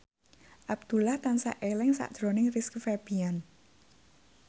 Abdullah tansah eling sakjroning Rizky Febian